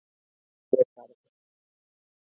Hlégarði